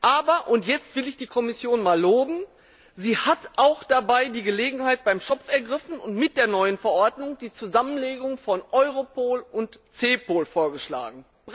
Aber und jetzt will ich die Kommission einmal loben sie hat dabei auch die Gelegenheit beim Schopf ergriffen und mit der neuen Verordnung die Zusammenlegung von Europol und CEPOL vorgeschlagen.